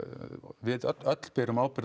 við öll öll berum ábyrgð á